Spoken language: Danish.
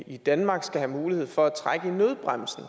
i danmark skal have mulighed for at trække i nødbremsen